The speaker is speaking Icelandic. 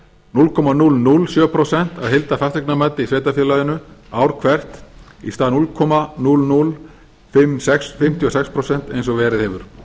núll komma núll núll sjö prósent af heildarfasteignamati í sveitarfélaginu ár hvert í stað núll komma núll núll fimm sex prósent eins og verið hefur